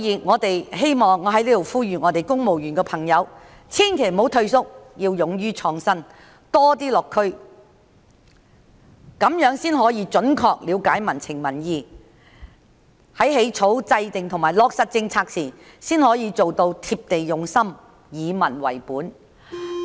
我在此呼籲公務員千萬不要退縮，要勇於創新及多些落區，這樣才能準確了解民情民意；在起草、制訂及落實政策時，才可做到貼地用心、以民為本。